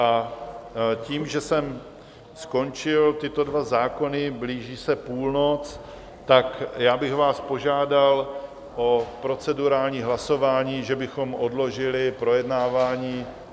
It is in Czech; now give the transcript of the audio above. A tím, že jsem skončil tyto dva zákony, blíží se půlnoc, tak já bych vás požádal o procedurální hlasování, že bychom odložili projednávání...